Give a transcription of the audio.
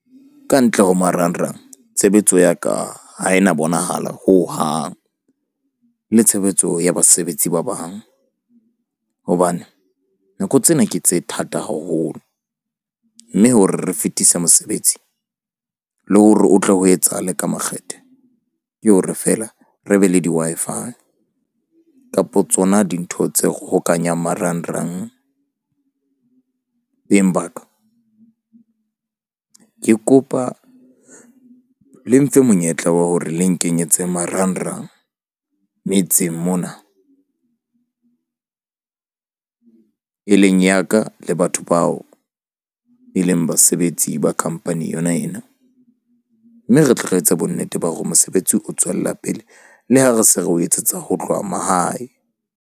Ka ntle ho marangrang tshebetso ya ka ha e na bonahala hohang le tshebetso ya basebetsi ba bang hobane, nako tsena ke tse thata haholo mme hore re fetise mosebetsi le hore o tle ho etsahale ka makgethe. Ke hore feela re be le di-Wi-Fi kapa tsona dintho tse hokahanyang marangrang. Beng ba ka ke kopa le mfe monyetla wa hore le nkenyetse marangrang metseng mona e leng ya ka le batho bao e leng basebetsi ba company yona ena. Mme re tle re etse bonnete ba hore mosebetsi o tswella pele le ha re se re o etsetsa ho tloha mahae.